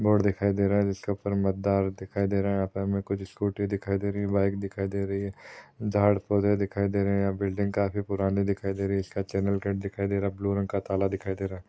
Board दिखाई दे रहा जिसके ऊपर मतदार दिखाई दे रहा यहाँ पर कुछ स्कूटी दिखाई दे रही बाइक दिखाई दे रही है झाड पौधे दिखाई दे रहे बिल्डिंग काफी पुरानी दिखाई दे रही है इसका चैनल गेट दिखाई दे रहा ब्लू रंग का ताला दिखाई दे रहा है।